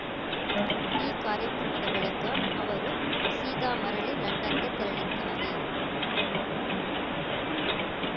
ಈ ಕಾರ್ಯಕ್ರಮದ ಬಳಿಕ ಅವರು ಸೀದಾ ಮರಳಿ ಲಂಡನ್‌ಗೆ ತೆರಳಿದ್ದಾರೆ